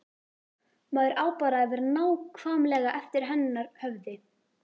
Maður á bara að vera nákvæmlega eftir hennar höfði.